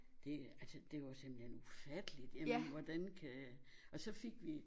Det altså det var jo simpelthen ufatteligt jamen hvordan kan og så fik vi